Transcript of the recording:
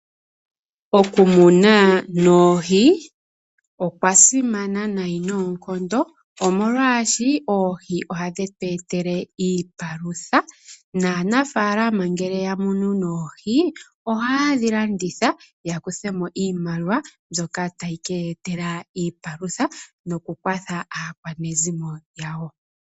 Okumuna oohi okwa simana unene noonkondo omolwashoka oohi ohadhi tweetele iipalutha. Naanafaalama ngele oya munu oohi ohaye dhilanditha yakuthe mo iimaliwa mbyoka tayi ke yeetela iipalutha nokukwatha aakwanezimo yawo.